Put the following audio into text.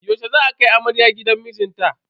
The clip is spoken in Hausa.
Yaushe za a kai amarya gidan mijinta?